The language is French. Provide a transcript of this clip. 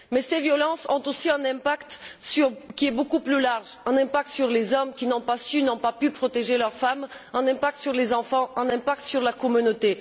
Mais ces violences ont aussi un impact beaucoup plus large un impact sur les hommes, qui n'ont ni su ni pu protéger leurs femmes, un impact sur les enfants, un impact sur la communauté.